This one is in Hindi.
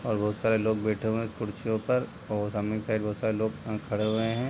और बहुत सारे लोग बैठे हुए है इस कुर्सियों पर और सामने के साइड में बहोत सारे लोग खड़े हुए है।